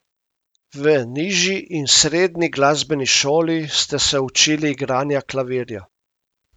V nižji in srednji glasbeni šoli ste se učili igranja klavirja.